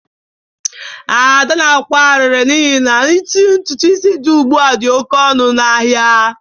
Ada na-akwa arịrị n'ihi na itinye ntutu isi dị ugbu a dị oke ọnụ n'ahịa